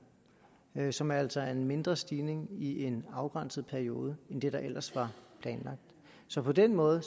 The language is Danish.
nu som altså giver en mindre stigning i en afgrænset periode end det der ellers var planlagt så på den måde er